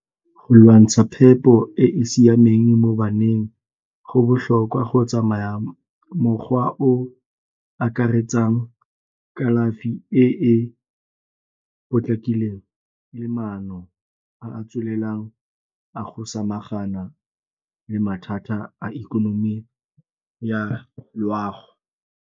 Go lwantsha phepo e e siameng mo baneng go botlhokwa go tsamaya mogwa o akaretsang kalafi e e potlakileng le maano a a tswelelang a go samagana le mathata a ikonomi ya loago.